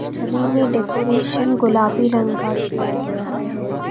छवि में डेकोरेशन गुलाबी रंग का किया गया है।